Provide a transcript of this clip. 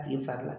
A tigi fari la